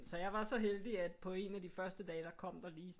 Så jeg var så heldigt at på en af de første dage der kom der lige